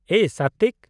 ᱮᱭ ᱥᱟᱛᱛᱤᱠ !